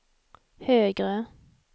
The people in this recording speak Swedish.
högre